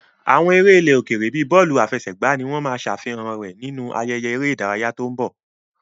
Àwọn eré ilẹ̀ òkèèrè bíi bọ́ọ̀lù àfẹsẹ̀gbá ni wọ́n máa ṣe àfihàn rẹ̀ nínú ayẹyẹ eré ìdárayá tó ń bọ̀.